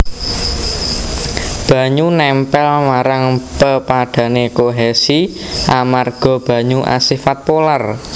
Banyu nèmpèl marang pepadhané kohesi amarga banyu asifat polar